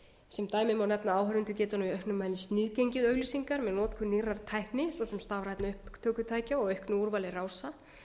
sem dæmi má nefna að áhorfendur geta nú í auknum mæli sniðgengið auglýsingar með notkun nýrrar tækni svo sem stafrænna upptökutækja og auknu úrvali rása